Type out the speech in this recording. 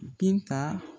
Binta